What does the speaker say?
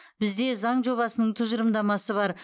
бізде заң жобасының тұжырымдамасы бар